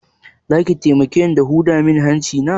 Zaki taimake ni da huda mun hanci na?